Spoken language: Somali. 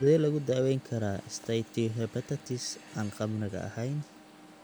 Sidee lagu daweyn karaa steatohepatitis aan khamriga ahayn?